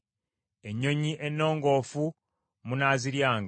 Ennyonyi ennongoofu munaaziryanga.